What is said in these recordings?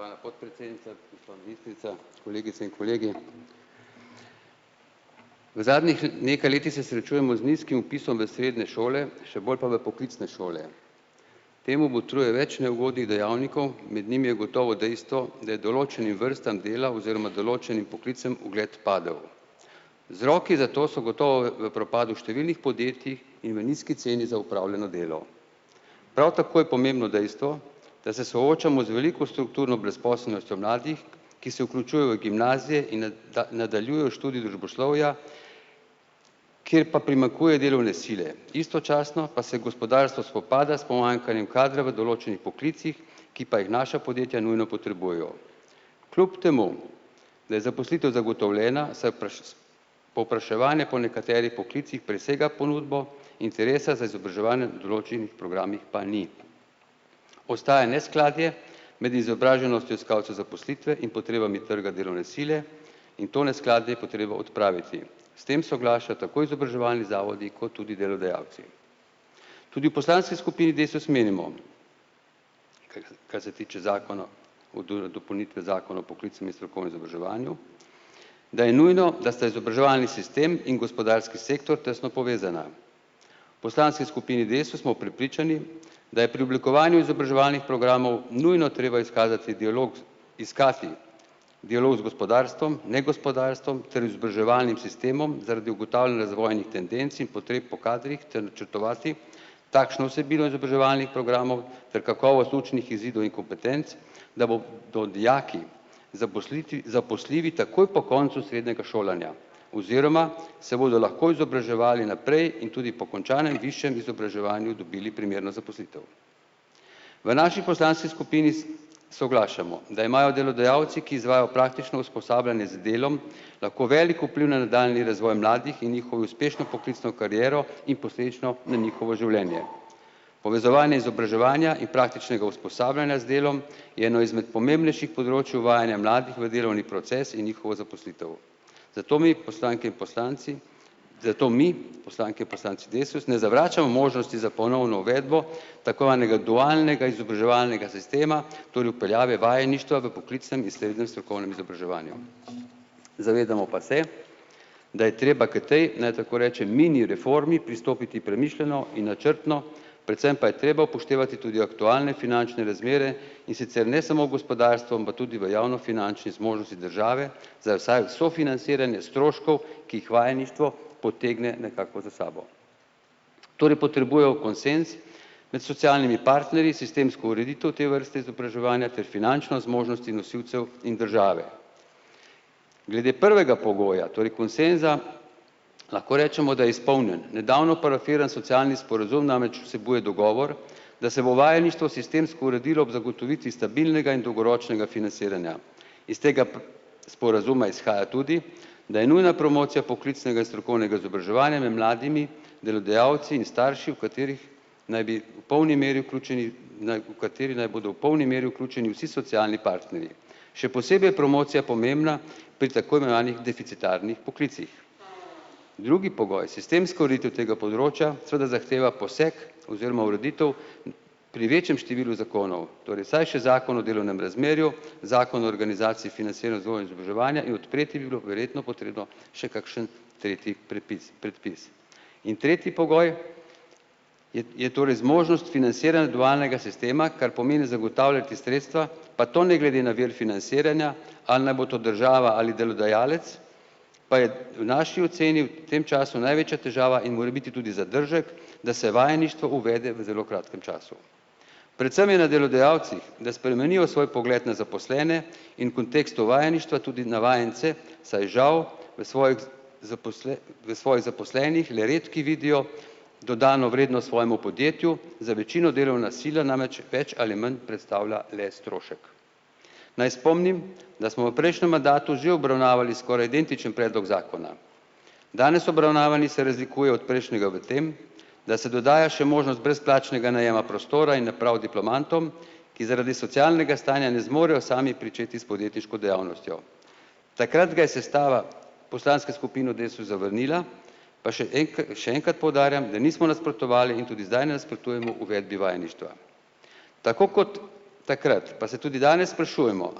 Spoštovana podpredsednica, gospa ministrica, kolegice in kolegi. V zadnjih nekaj letih se srečujemo z nizkim vpisom v srednje šole, še bolj pa v poklicne šole. Temu botruje več neugodnih dejavnikov, med njimi je gotovo dejstvo, da določenim vrstam dela oziroma določenim poklicem ugled padel. Vzroki za to so gotovo v v propadu številnih podjetij in v nizki ceni za opravljeno delo. Prav tako je pomembno dejstvo, da se soočamo z veliko strukturno brezposelnostjo mladih, ki se vključujejo v gimnazije in da nadaljujejo študij družboslovja, kjer pa primanjkuje delovne sile. Istočasno pa se gospodarstvo spopada s pomanjkanjem kadra v določenih poklicih, ki pa jih naša podjetja nujno potrebujejo. Kljub temu da je zaposlitev zagotovljena, se povpraševanje po nekaterih poklicih presega ponudbo interesa za izobraževanje določenih programih pa ni. Ostaja neskladje med izobraženostjo iskalca zaposlitve in potrebami trga delovne sile in to neskladje je potreba odpraviti. S tem soglašajo tako izobraževalni zavodi kot tudi delodajalci. Tudi v poslanski skupini Desus menimo, kar se tiče dopolnitve zakona o poklicnem in strokovnem izobraževanju, da je nujno, da se izobraževalni sistem in gospodarski sektor tesno povezana. Poslanski skupini Desus smo prepričani, da je pri oblikovanju izobraževalnih programov nujno treba izkazati dialog, iskati dialog z gospodarstvom, negospodarstvom ter izobraževalnim sistemom zaradi ugotavljanja zavojnih tendenc in potreb po kadrih ter načrtovati takšno vsebino izobraževalnih programov ter kakovost učnih izidov in kompetenc, da bo do dijaki zaposljivi takoj po koncu srednjega šolanja oziroma se bodo lahko izobraževali naprej in tudi po končanem višjem izobraževanju dobili primerno zaposlitev. V naši poslanski skupini soglašamo, da imajo delodajalci, ki izvajajo praktično usposabljanje z delom, lahko velik vpliv na nadaljnji razvoj mladih in njihovo uspešno poklicno kariero in posledično na njihovo življenje. Povezovanje izobraževanja in praktičnega usposabljanja z delom je eno izmed pomembnejših področij uvajanja mladih v delovni proces in njihovo zaposlitev. Zato mi, poslanke in poslanci, zato mi, poslanke in poslanci Desus, ne zavračamo možnosti za ponovno uvedbo tako zvanega dualnega izobraževalnega sistema, torej vpeljave vajeništva v poklicnem in srednjem strokovnem izobraževanju. Zavedamo pa se, da je treba k tej, naj tako rečem, mini reformi pristopiti premišljeno in načrtno, predvsem pa je treba upoštevati tudi aktualne finančne razmere, in sicer ne samo v gospodarstvu, ampak tudi v javnofinančne zmožnosti države za vsaj vse financiranje stroškov, ki jih vajeništvo potegne nekako za sabo. Torej potrebujejo konsenz med socialnimi partnerji, sistemsko ureditev te vrste izobraževanja ter finančne zmožnosti nosilcev in države. Glede prvega pogoja, torej konsenza, lahko rečemo, da je izpolnjen, nedavno parafiran socialni sporazum namreč vsebuje dogovor, da se bo vajeništvo sistemsko uredilo ob zagotovitvi stabilnega in dolgoročnega financiranja. Iz tega sporazuma izhaja tudi, da je nujna promocija poklicnega in strokovnega izobraževanja med mladimi delodajalci in starši, v katerih naj bi v polni meri vključeni v kateri naj bodo v polni meri vključeni vsi socialni partnerji. Še posebej je promocija pomembna pri tako imenovanih deficitarnih poklicih. Drugi pogoj, sistemska ureditev tega področja seveda zahteva poseg oziroma ureditev pri večjem številu zakonov, torej vsaj še zakon o delovnem razmerju, zakon o organizaciji financiranju vzgoje izobraževanja in odpreti bi bilo verjetno potrebno še kakšen tretji prepis predpis. In tretji pogoj je je torej zmožnost financiranja dualnega sistema, kar pomeni zagotavljati sredstva, pa to ne glede na vir financiranja, ali naj bo to država ali delodajalec, pa je v naši oceni tem času največja težava in morebiti tudi zadržek, da se vajeništvo uvede v zelo kratkem času. Predvsem je na delodajalcih, da spremenijo svoj pogled na zaposlene in kontekstu vajeništva tudi na vajence, saj žal v v svojih zaposlenih le redki vidijo dodano vrednost svojemu podjetju, za večino delovna sila namreč več ali manj predstavlja le strošek. Naj spomnim, da smo v prejšnjem mandatu že obravnavali skoraj identičen predlog zakona. Danes obravnavani se razlikuje od prejšnjega v tem, da se dodaja še možnost brezplačnega najema prostora in naprav diplomantom, ki zaradi socialnega stanja ne zmorejo sami pričeti s podjetniško dejavnostjo. Takrat ga je sestala poslanska skupina Desus zavrnila, pa še še enkrat poudarjam, da nismo nasprotovali in tudi ne nasprotujemo uvedbi vajeništva. Tako kot takrat pa se tudi danes sprašujemo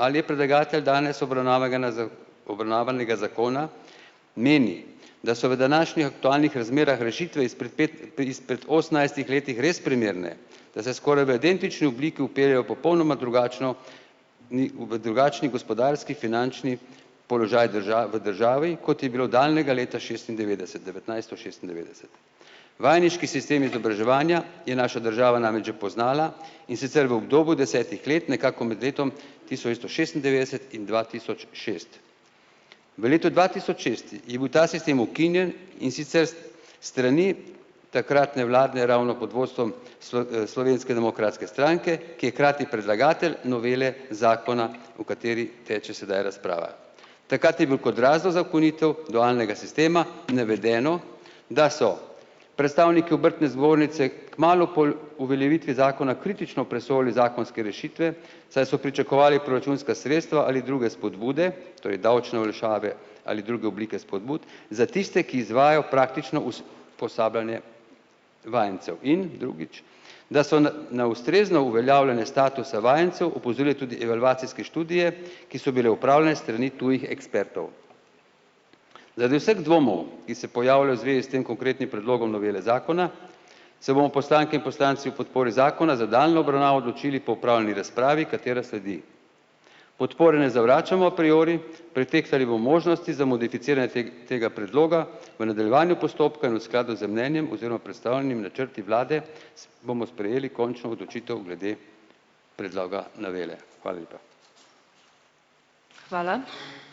ali je predlagatelj danes obravnavanega zakona meni, da se v današnjih aktualnih razmerah rešitve izpred izpred osemnajstih letih res primerne, da se skoraj v identični obliki vpeljejo popolnoma drugačno, ni v v drugačni gospodarski finančni položaj v državi, kot je bilo daljnega leta šestindevetdeset, devetnajsto šestindevetdeset. Vajeniški sistem izobraževanja je naša država namreč že poznala, in sicer v obdobju desetih let nekako med letom tisoč šestindevetdeset in dva tisoč šest. V letu dva tisoč šest je bil ta sistem ukinjen, in sicer s strani takratne vlade ravno pod vodstvom Slovenske demokratske stranke, ki je krati predlagatelj novele zakona, o kateri teče sedaj razprava. Takrat je bil kot razlog za ukinitev dualnega sistema naveden, da so predstavniki obrtne zbornice kmalu po uveljavitvi zakona kritično presojali zakonske rešitve, saj so pričakovali proračunska sredstva ali druge spodbude, to je davčne olajšave ali druge oblike spodbud za tiste, ki izvajajo praktično us posabljanje vajencev in, drugič, da so na na ustrezno uveljavljene statusa vajencev opozorile tudi evalvacijske študije, ki so bile opravljene strani tujih ekspertov. Zaradi vseh dvomov, ki se pojavljajo v zvezi s tem konkretnim predlogom novele zakona, se bomo poslanke in poslanci v podpori zakona za nadaljnjo obravnavo odločili po opravljeni razpravi, katera sledi. Podpore ne zavračamo priori, pretehtali bomo možnosti za modificiranje tega predloga, v nadaljevanju postopka in skladu z mnenjem oziroma predstavljenimi načrti vlade bomo sprejeli končno odločitev glede predloga novele. Hvala lepa.